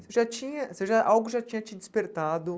Você já tinha você já algo já tinha te despertado.